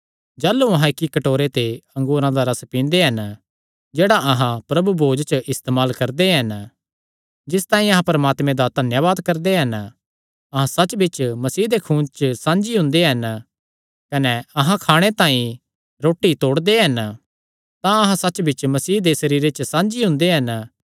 जाह़लू अहां इक्की कटोरे ते अंगूरा दा रस पींदे हन जेह्ड़ा अहां प्रभु भोज च इस्तेमाल करदे हन जिस तांई अहां परमात्मे दा धन्यावाद करदे हन अहां सच्चबिच्च मसीह दे खूने च साझी हुंदे हन कने अहां खाणे तांई रोटी तोड़दे हन तां अहां सच्चबिच्च मसीह दे सरीरे च साझी हुंदे हन